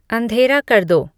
अंधेरा कर दो